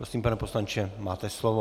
Prosím, pane poslanče, máte slovo.